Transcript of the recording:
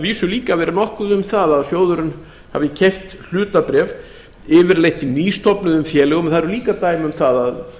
vísu verið nokkuð um það að sjóðurinn hafi keypt hlutabréf yfirleitt í nýstofnuðum félögum en þess eru líka dæmi að